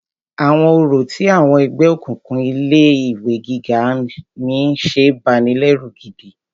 Àwọn orò tí àwọn ẹgbẹ́ òkùnkùn ilé ìwé gíga mí ń ṣe banilẹ́rù gidi.